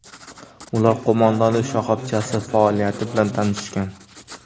Ular qo‘mondonlik shoxobchasi faoliyati bilan tanishgan.